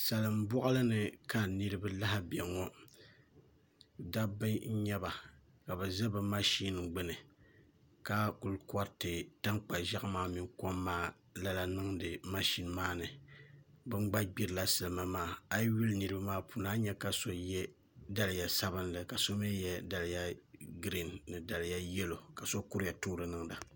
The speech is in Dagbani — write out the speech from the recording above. Salin boɣali ni ka niraba lahi bɛ ŋo dabba n nyɛba ka bi ʒi bi mashin gbuni ka ku koriti tankpa ʒiɛɣu maa mini kom maa lala niŋdi mashin maa ni bin gba gbirila salima maa a yi lihi niraba maa ni a ni nyɛ ka so yɛ daliya sabinli ka so mii yɛ daliya giriin ni daliya yɛlo ka so kuriya toori niŋda